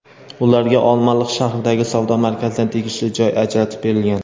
Ularga Olmaliq shahridagi savdo markazidan tegishli joy ajratib berilgan.